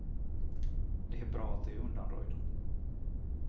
Det är bra att de är undanröjda.